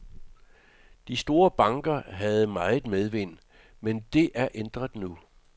De store banker havde meget medvind, men det er ændret nu.